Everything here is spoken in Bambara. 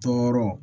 Tɔɔrɔ